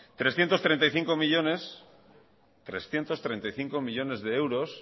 trescientos treinta y cinco millónes trescientos treinta y cinco millónes de euros